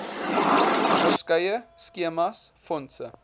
verskeie skemas fondse